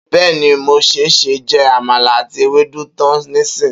Beni, mo se ṣe je amala àti Ewédú tan nisin